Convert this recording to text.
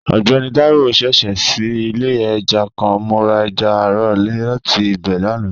Ọgbẹni Taiwo ṣẹṣẹ ṣii ile ẹja kan, mo ra ẹja aro lati ibẹ lana.